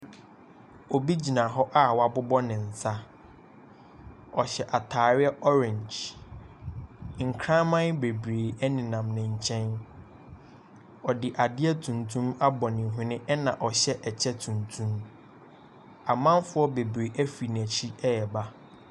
Obi gyina hɔ a wɔabobɔ ne nsa. Ɔhyɛ atareɛ orange. Nkraman bebree nenam ne nkyɛn. Wɔde adeɛ tuntum abɔ ne hwene na ɔhyɛ kyɛ tuntum. Amanfoɔ bebree firi n'akyi reba.